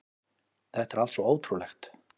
Þetta er allt svo ótrúlegt